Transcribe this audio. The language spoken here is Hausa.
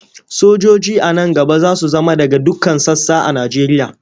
Sojoji a nan gaba za su zama daga dukkan sassa a Nigeria.